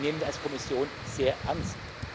Die nehmen wir als Kommission sehr ernst.